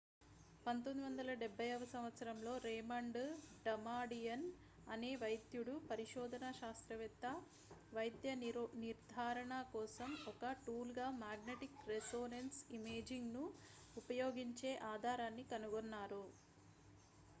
1970వ సంవత్సరంలో Raymond Damadian అనే వైద్యుడు పరిశోధనా శాస్త్రవేత్త వైద్య రోగనిర్ధారణకోసం ఒక టూల్ గా మాగ్నటిక్ రెసోనెన్స్ ఇమేజింగ్ ను ఉపయోగించే ఆధారాన్ని కనుగొన్నారు